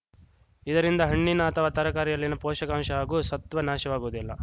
ಇದರಿಂದ ಹಣ್ಣಿನ ಅಥವಾ ತರಕಾರಿಯಲ್ಲಿನ ಪೋಷಕಾಂಶ ಹಾಗೂ ಸತ್ವ ನಾಶವಾಗುವುದಿಲ್ಲ